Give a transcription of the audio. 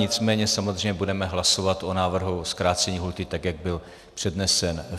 Nicméně samozřejmě budeme hlasovat o návrhu zkrácení lhůty tak, jak byl přednesen.